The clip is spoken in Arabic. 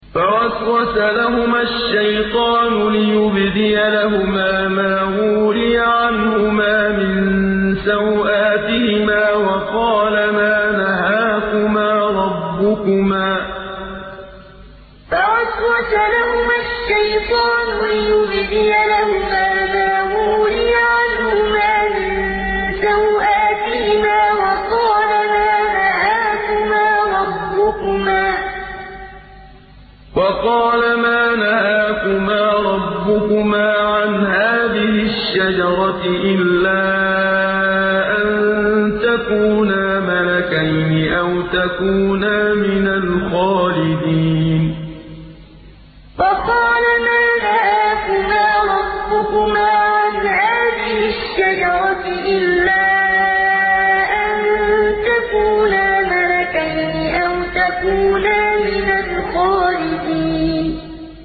فَوَسْوَسَ لَهُمَا الشَّيْطَانُ لِيُبْدِيَ لَهُمَا مَا وُورِيَ عَنْهُمَا مِن سَوْآتِهِمَا وَقَالَ مَا نَهَاكُمَا رَبُّكُمَا عَنْ هَٰذِهِ الشَّجَرَةِ إِلَّا أَن تَكُونَا مَلَكَيْنِ أَوْ تَكُونَا مِنَ الْخَالِدِينَ فَوَسْوَسَ لَهُمَا الشَّيْطَانُ لِيُبْدِيَ لَهُمَا مَا وُورِيَ عَنْهُمَا مِن سَوْآتِهِمَا وَقَالَ مَا نَهَاكُمَا رَبُّكُمَا عَنْ هَٰذِهِ الشَّجَرَةِ إِلَّا أَن تَكُونَا مَلَكَيْنِ أَوْ تَكُونَا مِنَ الْخَالِدِينَ